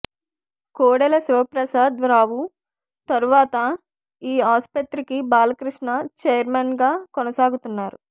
కోడెల శివప్రసాద్ రావు తర్వాత ఈ ఆసుపత్రికి బాలకృష్ణ చైర్మెన్ గా కొనసాగుతున్నారు